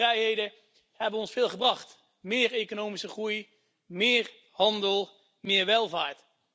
Die vier vrijheden hebben ons veel gebracht meer economische groei, meer handel, meer welvaart.